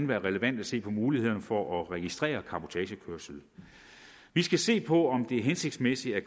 være relevant at se på mulighederne for at registrere cabotagekørsel vi skal se på om det er hensigtsmæssigt at